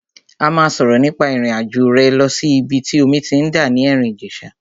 A máa sọ̀rọ̀ nípa ìrìn àjò rẹ lọ sí ìbi tí omi ti ń dà ní Erin Ijesa.